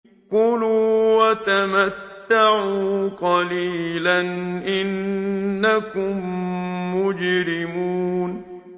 كُلُوا وَتَمَتَّعُوا قَلِيلًا إِنَّكُم مُّجْرِمُونَ